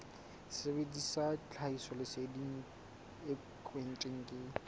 sebedisa tlhahisoleseding e kentsweng ke